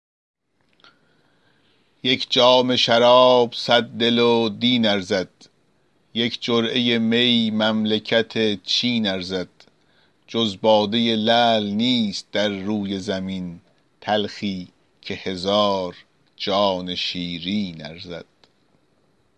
یک جام شراب صد دل و دین ارزد یک جرعه می مملکت چین ارزد جز باده لعل نیست در روی زمین تلخی که هزار جان شیرین ارزد